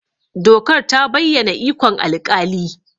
Dokar ta bayyana ikon alƙali.